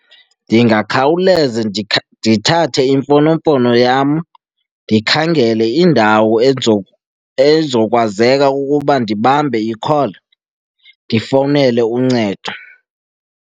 Ndingakhawuleza ndithathe imfonomfono yam ndikhangele indawo ezokwazeka ukuba ndibambe i-call ndifowunele uncedo.